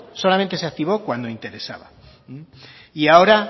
solamente se activó cuando interesaba y ahora